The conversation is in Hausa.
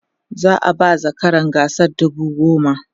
za'a ba zakaran gasar dubu goma